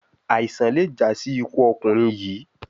Aisan le ja si iku ọkunrin yii